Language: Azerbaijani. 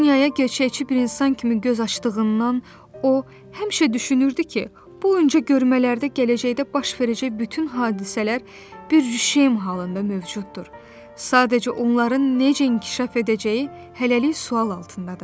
Bu dünyaya gerçəkçi bir insan kimi göz açdığından o, həmişə düşünürdü ki, bu öncəgörmələrdə gələcəkdə baş verəcək bütün hadisələr bir rüşeym halında mövcuddur, sadəcə onların necə inkişaf edəcəyi hələlik sual altındadır.